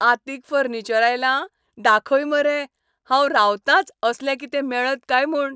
आंतीक furniture आयलां? दाखय मरे. हांव रावतांच असलें कितें मेळत काय म्हूण.